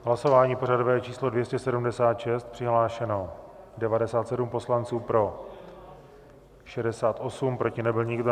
Hlasování pořadové číslo 276, přihlášeno 97 poslanců, pro 68, proti nebyl nikdo.